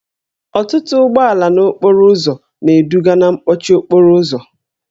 Ọtụtụ ụgbọala n'okporo ụzọ na-eduga na mkpọchi okporo ụzọ